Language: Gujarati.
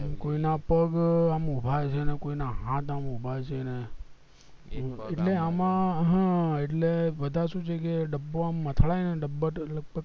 આમ કોઈ ના પગ આમ છે ને કોઈના હાથ આમ ઉભા છે ને એટલે અમ હ એટલે બધા સુ છે કે ડબ્બો આમ અથડાય ને ડબ્બા